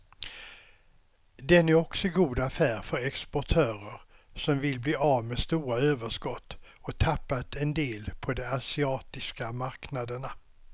Den är också god affär för exportörer som vill bli av med stora överskott och tappat en del på de asiatiska marknaderna.